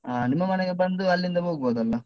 ಹ ನಿಮ್ಮ ಮನೆಗೆ ಬಂದು ಅಲ್ಲಿಂದ ಹೋಗ್ಬೋದಲ್ಲಾ?